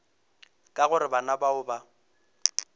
ka gore bana bao ba